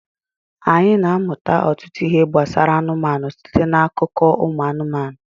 anyị na-amụta ọtụtụ ihe gbasara anụmanụ site n'akụkọ ụmụ anụmanụ